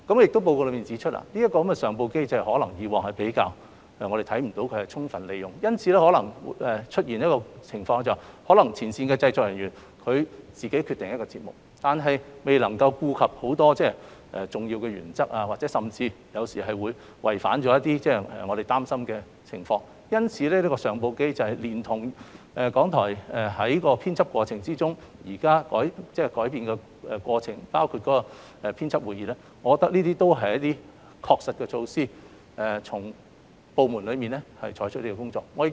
《檢討報告》亦指出，過往可能未能看到相關上報機制獲得充分利用，因而出現前線製作人員自行作出決定，但未能顧及眾多重要原則，甚或偶然違反某些要求，引來公眾疑慮的情況。因此，我認為善用相關上報機制，連同港台現時在編輯過程中作出的改善，包括舉行編輯會議，是能夠確切讓部門妥善處理相關工作的措施。